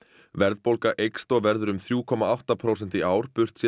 verðbólga eykst og verður um þrjá komma átta prósent í ár burtséð